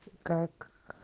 как